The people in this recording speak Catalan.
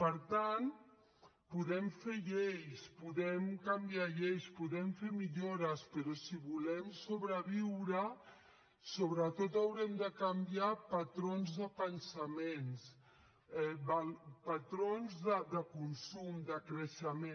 per tant podem fer lleis podem canviar lleis podem fer millores però si volem sobreviure sobretot haurem de canviar patrons de pensament patrons de consum de creixement